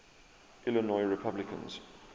illinois republicans